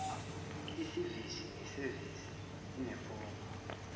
isevisi nesevisi inefomu